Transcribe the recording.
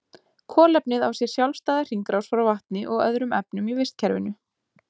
Kolefnið á sér sjálfstæða hringrás frá vatni og öðrum efnum í vistkerfinu.